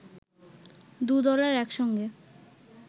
দু দলের এক সঙ্গে